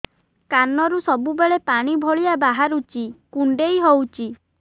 କାନରୁ ସବୁବେଳେ ପାଣି ଭଳିଆ ବାହାରୁଚି କୁଣ୍ଡେଇ ହଉଚି